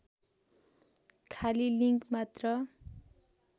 खाली लिँक मात्र